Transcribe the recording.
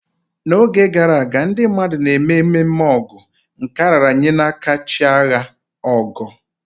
N'oge gara aga, ndị mmadụ na-eme ememe Ọgu, nke a raara nye chi agha, Ọgọ.